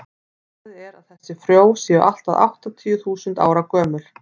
talið er að þessi frjó séu allt að áttatíu þúsund ára gömul